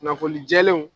Kunnafoni jɛlenw